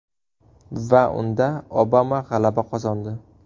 Va unda Obama g‘alaba qozondi!